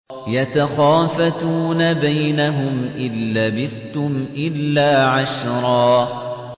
يَتَخَافَتُونَ بَيْنَهُمْ إِن لَّبِثْتُمْ إِلَّا عَشْرًا